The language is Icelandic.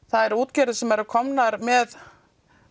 það eru útgerðir sem eru komnar með